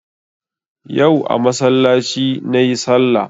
Yau a masallaci nayi sallah